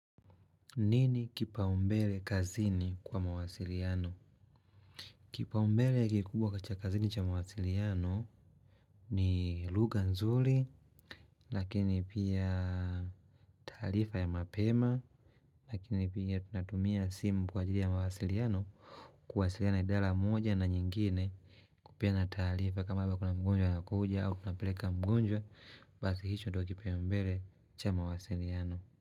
Nini kipaumbele kazini kwa mawasiliano? Kipaumbele kikubwa katika kazini cha mawasiliano ni lugha nzuri, lakini pia taarifa ya mapema, lakini pia tunatumia simu kwa ajili ya mawasiliano, kuwasiliana idara moja na nyingine kupeana taarifa, kama hivo kuna mgonjwa anakuja au tunapeleka mgonjwa, basi hicho ndio kipau mbele cha mawasiliano.